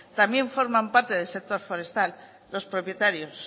también forman parte del sector forestal los propietarios